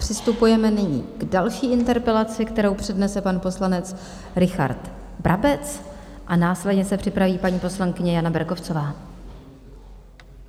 Přistupujeme nyní k další interpelaci, kterou přednese pan poslanec Richard Brabec, a následně se připraví paní poslankyně Jana Berkovcová.